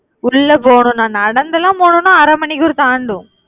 உள்ள போகணும்னா நடந்து எல்லாம் போகணும்னா அரை மணிக்கூட தாண்டும்